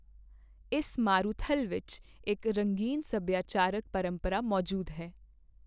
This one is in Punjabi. ਇਸ ਮਾਰੂਥਲ ਵਿੱਚ ਇੱਕ ਰੰਗੀਨ ਸਭਿਆਚਾਰਕ ਪਰੰਪਰਾ ਮੌਜੂਦ ਹੈ।